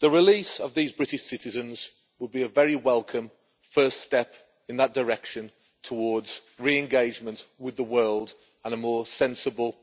The release of these British citizens would be a very welcome first step in that direction towards re engagement with the world and a more sensible,